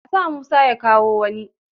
A sa Musa ya kawo wani!